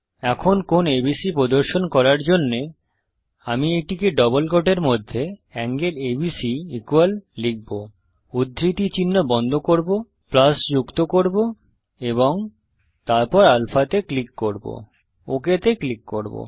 এখন কোণ এবিসি প্রদর্শন করার জন্যে আমি এটিকে ডবল কোটের মধ্যে এঙ্গেল এবিসি লিখব উদ্ধৃতি চিহ্ন বন্ধ করব যুক্ত করব এবং তারপর আলফা তে ক্লিক করব ওক তে ক্লিক করব